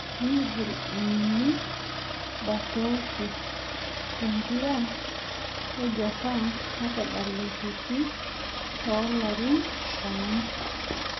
Migil ainining' Botaoshi te mpira ejapan natadalateki too larin tomon